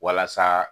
Walasa